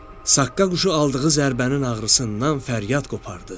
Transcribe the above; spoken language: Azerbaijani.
Saqqa quşu aldığı zərbənin ağrısından fəryad qopardı.